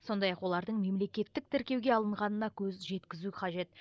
сондай ақ олардың мемлекеттік тіркеуге алынғанына көз жеткізу қажет